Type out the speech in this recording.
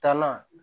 Taalan